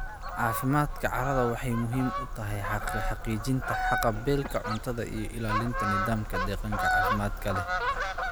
Caafimaadka carradu waxay muhiim u tahay xaqiijinta haqab-beelka cuntada iyo ilaalinta nidaamka deegaanka caafimaadka leh.